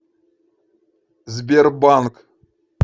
сбербанк